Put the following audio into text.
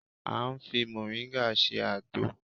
A ń fi mọ̀ríngà ṣe àgbo